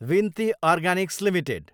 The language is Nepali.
विनती अर्गानिक्स एलटिडी